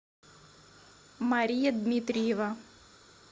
мария дмитриева